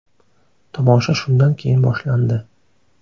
Tomosha shundan keyin boshlandi.